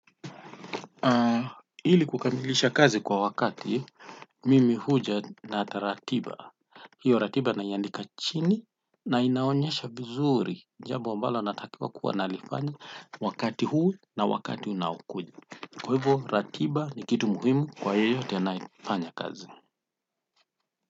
Ili kukamilisha kazi kwa wakati, mimi huja na ratiba. Hio ratiba naiandika chini na inaonyesha vizuri jambo ambalo natakiwa kuwa nalifanya wakati huu na wakati unaokuja. Kwa hivo ratiba ni kitu muhimu kwa hiyo tena fanya kazi.